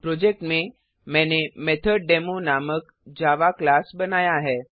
project में मैंने मेथोडेमो नामक जावा क्लास बनाया है